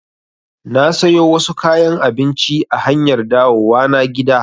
Na sayo wasu kayan abinci a hanyar dawowa na gida